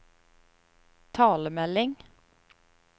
talemelding